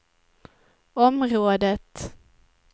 området